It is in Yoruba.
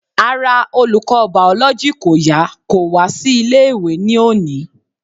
Ara olùkọ́ biology kò yá kò wá sí ilé ìwé ní òní.